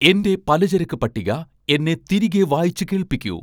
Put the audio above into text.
എൻ്റെ പലചരക്ക് പട്ടിക എന്നെ തിരികെ വായിച്ച് കേൾപ്പിക്കൂ